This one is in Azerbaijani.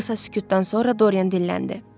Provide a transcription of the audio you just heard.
Qısa sükutdan sonra Dorian dinləndi.